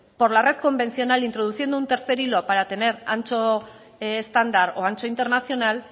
por la red convencional introduciendo un tercer hilo para tener ancho estándar o ancho internacional